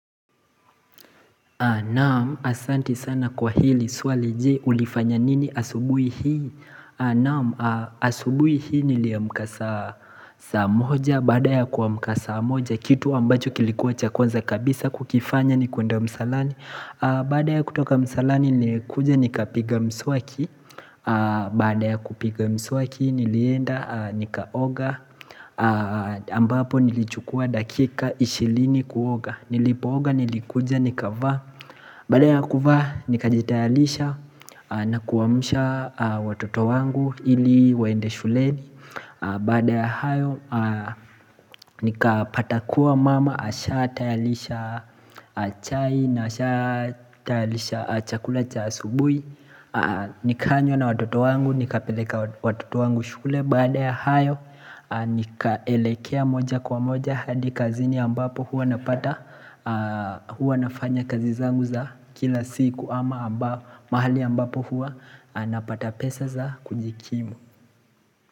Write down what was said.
Naam ahsante sana kwa hili swali je ulifanya nini asubuhi hii Naam asubuhi hii niliamka samoja badaya kuamka samoja kitu ambacho kilikuwa cha kwanza kabisa kukifanya ni kwenda msalani Badaya kutoka msalani nilikuja nikapiga mswaki Baadaya kupiga mswaki nilienda nikaoga ambapo nilichukua dakika ishirini kuoga nilipooga nilikuja nikava Baada ya kuvaa nikajitayalisha na kuwaamsha watoto wangu ili waende shuleni Baada ya hayo nikapata kuwa mama amesha tayarisha chai na ameshq tayarisha chakula cha asubuhi Nikanywa na watoto wangu nikapeleka watoto wangu shule baada ya hayo nikaelekea moja kwa moja hadi kazini ambapo huwa napata huwa nafanya kazi zangu za kila siku ama mahali ambapo huwa napata pesa za kujikimu.